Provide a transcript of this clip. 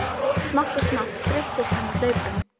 Smátt og smátt þreyttist hann á hlaupunum.